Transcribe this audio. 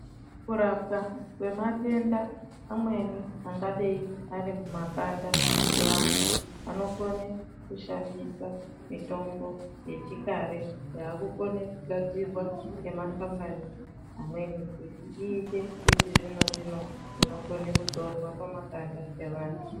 Kurapwa kwematenda amweni angadeyi arimumakanda evantu, vanokone kushandisa mitombo yechikare, yakukone kugadzirwa ngemakhampani amweni kuti ite yechizvino zvino inokone kuzorwa pamakanda evantu.